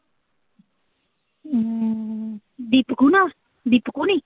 ਹਮ ਦੀਪਕ ਹੁਣਾ, ਦੀਪਕ ਹੁਣੀ?